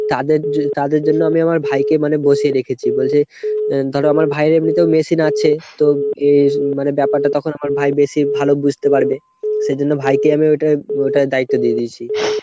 তাদের তাদের জন্য আমি আমার ভাইকে মানে বসিয়ে রেখেছি। বলছে ধরো আমার ভাইয়ের এমনিতেও machine আছে তো ব্যাপারটা তখন আমার ভাই বেশি ভালো বুঝতে পারবে। সেই জন্য ভাইকে আমি ওটায় ওটায় দায়িত্ব দিয়ে দিয়েছি।